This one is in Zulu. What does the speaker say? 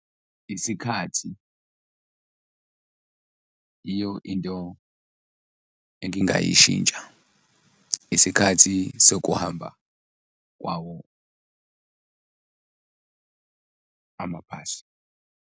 Isikhathi iyo into engingayishintsha isikhathi sokuhamba kwawo amabhasi.